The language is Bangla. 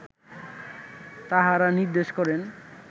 তাঁহারা নির্দেশ করেন